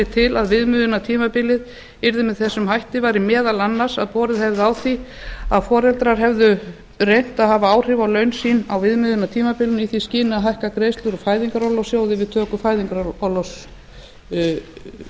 til að viðmiðunartímabilið yrði með þessum hætti væri meðal annars að borið hefði á því að foreldrar hefðu reynt að hafa áhrif á laun sín á viðmiðunartímabilinu í því skyni að hækka greiðslur úr fæðingarorlofssjóði við